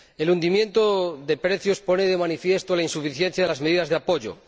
El hundimiento de precios pone de manifiesto la insuficiencia de las medidas de apoyo.